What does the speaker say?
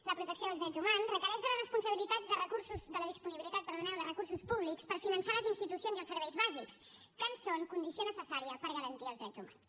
la protecció dels drets humans requereix la disponibilitat de recursos públics per finançar les institucions i els serveis bàsics que en són condició necessària per garantir els drets humans